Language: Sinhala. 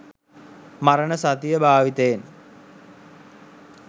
මරණ සතිය භාවිතයෙන්